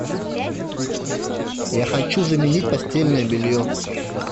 я хочу заменить постельное белье